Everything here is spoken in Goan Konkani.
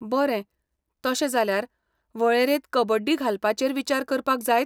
बरें, तशें जाल्यार, वळेरेंत कबड्डी घालपाचेर विचार करपाक जायत?